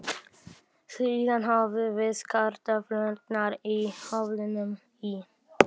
Síðan höfum við kartöflurnar í ofninum í